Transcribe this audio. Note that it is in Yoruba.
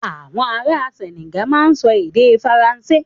Àwọn ará Senegal máa ń sọ èdè Faransé.